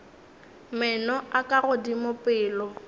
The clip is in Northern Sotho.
meno a ka godimo pele